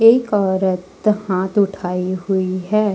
एक औरत हाथ उठाए हुई है।